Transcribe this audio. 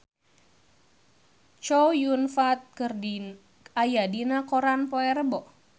Chow Yun Fat aya dina koran poe Rebo